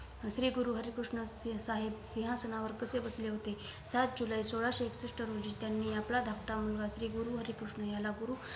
श्री गुरु हरी कृष्ण साहेब सिंहासनावर कसे बसले होते? सात जुलई सोलासहे एकषष्ठ रोजी त्यांनी आपला धाकटा मुलगा श्री गुरु हरी कृष्ण याला गुरु